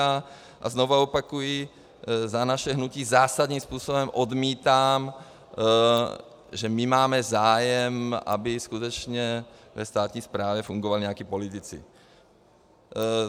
A znovu opakuji za naše hnutí, zásadním způsobem odmítám, že my máme zájem, aby skutečně ve státní správě fungovali nějací politici.